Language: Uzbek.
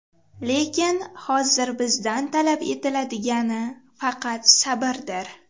Lekin hozir bizdan talab etiladigani faqat sabrdir.